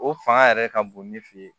O fanga yɛrɛ ka bon ni fɛ ye